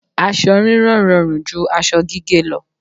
Aṣọ rírán rọrùn ju aṣọ gígé lọ.